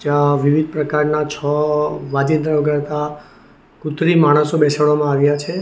અહ વિવિધ પ્રકારના છૌ વાજીત્ર વગાડતા કુત્રિમ માણસો બેસાડવામાં આવ્યા છે.